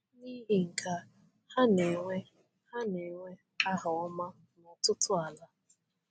N’ihi nke a, ha na-enwe ha na-enwe aha ọma n’ọtụtụ ala.